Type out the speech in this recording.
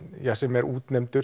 sem er útnefndur